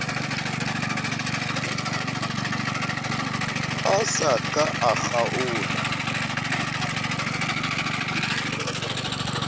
a sa ka a kgaola